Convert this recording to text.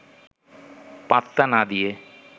পাত্তা না দিয়ে